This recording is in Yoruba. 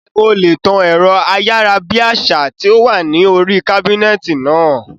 Ṣé o lè tan ẹ̀rọ ayárabíàṣá tí ó wà ní oríi kábínẹ̀tì náà?